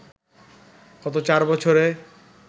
গত চার বছরে